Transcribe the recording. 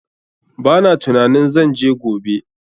Ba na tunanin zan je gobe.